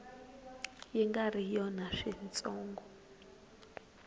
yi nga ri yona switsongo